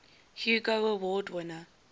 hugo award winner